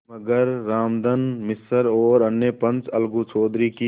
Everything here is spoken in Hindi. मगर रामधन मिश्र और अन्य पंच अलगू चौधरी की